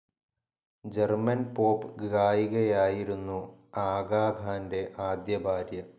German pop ഗായികയായിരുന്നു ആഗാ ഖാന്റെ ആദ്യ ഭാര്യ.